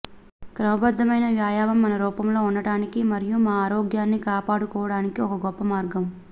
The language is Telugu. క్రమబద్ధమైన వ్యాయామం మన రూపంలో ఉండటానికి మరియు మా ఆరోగ్యాన్ని కాపాడుకోవడానికి ఒక గొప్ప మార్గం